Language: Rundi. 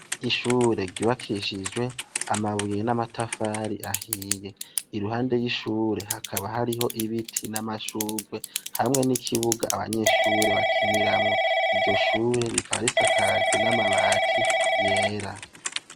Ishure ryubakishijwe amabuye n' amatafari ahiye. Iruhande y' ishure hakaba hariho ibiti n' amashurwe, hamwe n' ikibuga abanyeshure bakiniramwo, iryo shure rikaba risakajwe n' amabati yera.